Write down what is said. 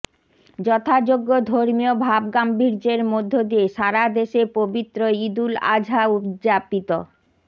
যথাযোগ্য ধর্মীয় ভাব গাম্ভীর্যের মধ্য দিয়ে সারাদেশে পবিত্র ঈদুল আজহা উদযাপিত